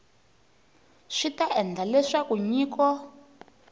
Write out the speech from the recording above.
swi ta endla leswaku nyiko